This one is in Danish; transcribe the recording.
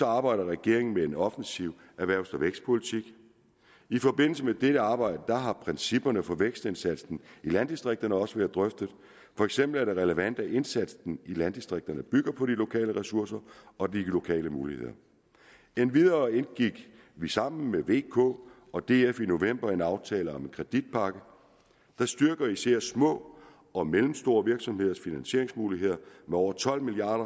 arbejder regeringen med en offensiv erhvervs og vækstpolitik i forbindelse med dette arbejde har principperne for vækstindsatsen i landdistrikterne også været drøftet for eksempel er det relevant at indsatsen i landdistrikterne bygger på de lokale ressourcer og de lokale muligheder endvidere indgik vi sammen med v k og df i november en aftale om en kreditpakke der styrker især små og mellemstore virksomheders finansieringsmuligheder med over tolv milliard